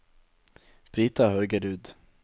Brita Haugerud